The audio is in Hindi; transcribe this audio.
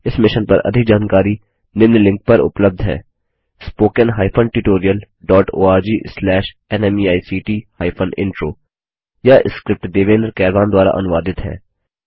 इस मिशन पर अधिक जानकारी निम्न लिंक पर उपलब्ध है spoken hyphen tutorial dot org slash NMEICT hyphen intro यह स्क्रिप्ट देवेन्द्र कैरवान द्वारा अनुवादित है